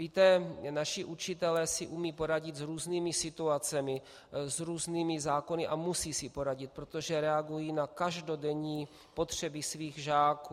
Víte, naši učitelé si umějí poradit s různými situacemi, s různými zákony a musí si poradit, protože reagují na každodenní potřeby svých žáků.